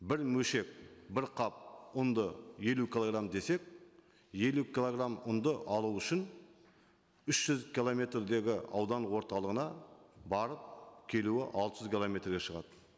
бір бір қап ұнды елу килограмм десек елу килограмм ұнды алу үшін үш жүз километрдегі аудан орталығына барып келуі алты жүз километрге шығады